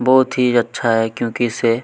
बहुत ही अच्छा है क्योंकि इसे--